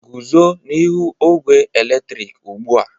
Guzo n'ihu ogwe eletrik ugbu a!